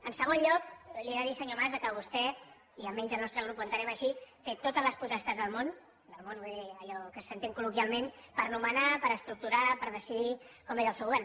en segon lloc li he de dir senyor mas que vostè i almenys el nostre grup ho entenem així té totes les potestats del món del món vull dir allò que s’entén col·loquialment per nomenar per estructurar per decidir com és el seu govern